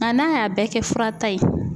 Nka n'a y'a bɛɛ kɛ furata ye